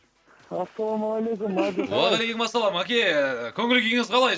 ассалаумағалейкум мәди қалай уағалейкумассалам маке ііі көңіл күйіңіз қалай